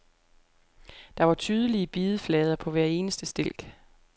Der var tydelige bideflader på hver eneste stilk.